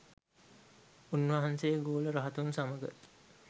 උන් වහන්සේ ගෝල රහතුන් සමග